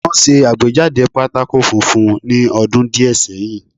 Wọ́n ṣe àgbéjáde pátákó funfun ní ọdún díẹ̀ sẹ́yìn